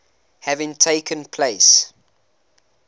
having taken place